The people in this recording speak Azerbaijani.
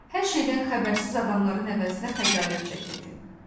Hər şeydən xəbərsiz adamların əvəzinə xəcalət çəkirdi.